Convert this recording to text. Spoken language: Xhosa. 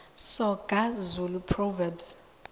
soga zulu proverbs